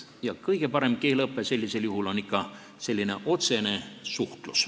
Ja kõige parem keeleõpe sellisel juhul on ikka otsene suhtlus.